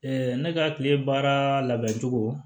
ne ka kile baara labɛncogo